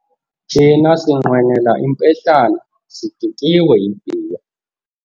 Thina sinqwenela impehlana sidikiwe yibhiya.